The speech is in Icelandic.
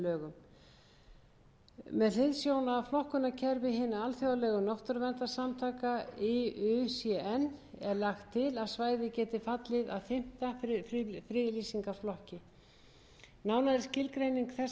lögum með hliðsjón af flokkunarkerfi hinna alþjóðlegu náttúruverndarsamtaka iucn er lagt til að svæðið geti fallið að fimmta friðlýsingarflokki nánari skilgreining þessa verndarstigs er á